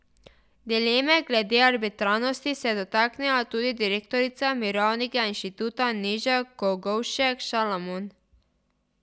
Dileme glede arbitrarnosti se je dotaknila tudi direktorica Mirovnega inštituta Neža Kogovšek Šalamon.